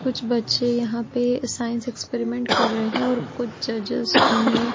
कुछ बच्चे यहाँ पे साइंस एक्सपेरिमेंट कर रहे हैं और कुछ जजेस उन्हें --